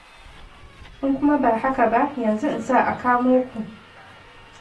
In kuma ba haka ba, yanzu in sa a kamo ku.